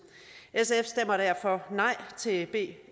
sf stemmer derfor nej til b